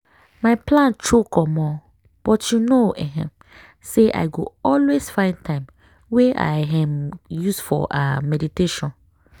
my plan choke omo!!! but you know um say i go always find time wey i um use for ah meditation.